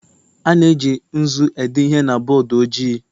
A na-eji nzu ede ihe na bọọdụ ojii